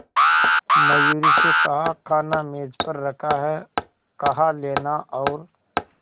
मयूरी से कहा खाना मेज पर रखा है कहा लेना और